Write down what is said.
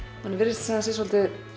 manni virðist sem það sé svolítið